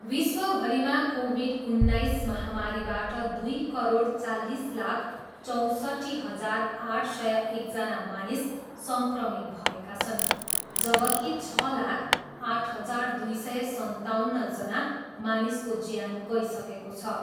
विश्वभरिमा COVID उन्नाइस महामारीबाट दुई करोड चालिस लाख चौँसट्ठी हजार आठ सय एकजना मानिस सङ्क्रमित भएका छन् जबकि छ लाख आठ हजार दुई सय सन्ताउन्नजना मानिसको ज्यान गइसकेको छ।